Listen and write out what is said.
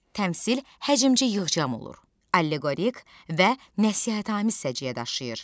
Təmsil həcmcə yığcam olur, alleqorik və nəsihətamiz səciyyə daşıyır.